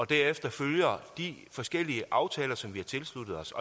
derefter følger de forskellige aftaler som vi har tilsluttet os